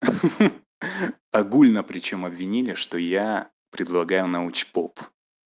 огульно причём обвинили что я предлагаю научпоп